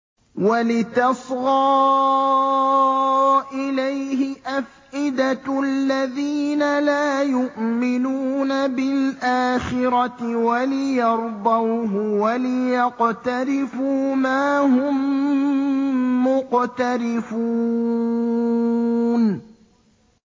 وَلِتَصْغَىٰ إِلَيْهِ أَفْئِدَةُ الَّذِينَ لَا يُؤْمِنُونَ بِالْآخِرَةِ وَلِيَرْضَوْهُ وَلِيَقْتَرِفُوا مَا هُم مُّقْتَرِفُونَ